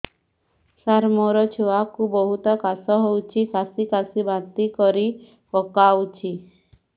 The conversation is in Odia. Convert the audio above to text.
ସାର ମୋ ଛୁଆ କୁ ବହୁତ କାଶ ହଉଛି କାସି କାସି ବାନ୍ତି କରି ପକାଉଛି